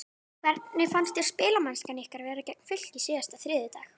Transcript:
Hvernig fannst þér spilamennskan ykkar vera gegn Fylki síðasta þriðjudag?